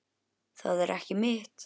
Það er ekki mitt.